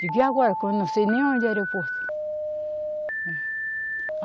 Eu digo e agora, que eu não sei nem aonde é o aeroporto.